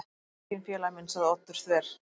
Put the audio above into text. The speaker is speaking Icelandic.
Hann er enginn félagi minn- sagði Oddur þver